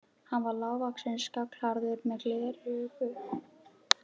Hann var lágvaxinn, skolhærður, með gleraugu.